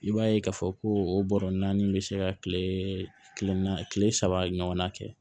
I b'a ye k'a fɔ ko o bɔrɔ naani bɛ se ka kile naani kile saba ɲɔgɔnna kɛ